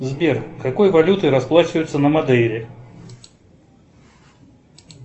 сбер какой валютой расплачиваются на модейре